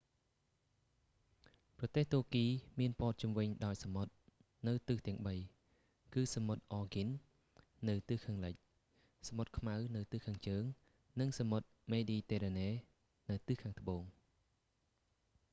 ប្រទេសទួរគីមានព័ទ្ធជុំវិញដោយសមុទ្រនៅទិសទាំងបី គឺសមុទ្រ អ៊ែរហ្គីន aegean នៅខាងលិចសមុទ្រខ្មៅនៅខាងជើង និងសមុទ្រមេឌីទែរ៉ាណេនៅខាងត្បូង